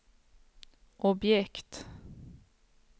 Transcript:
objekt